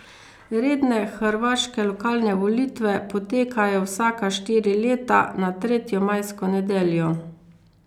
Redne hrvaške lokalne volitve potekajo vsaka štiri leta na tretjo majsko nedeljo.